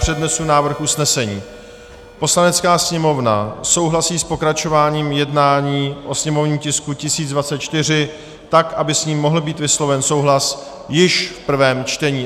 Přednesu návrh usnesení: "Poslanecká sněmovna souhlasí s pokračováním jednání o sněmovním tisku 1024 tak, aby s ním mohl být vysloven souhlas již v prvém čtení."